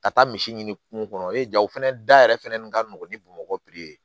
Ka taa misi ɲini kungo kɔnɔ e ja o fɛnɛ da yɛrɛ fɛnɛ nin ka nɔgɔ ni bamakɔ